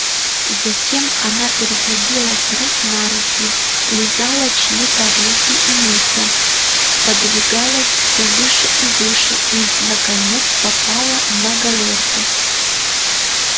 затем она переходила с рук на руки лизала чьи-то руки и лица подвигалась всё выше и выше и наконец попала на галёрку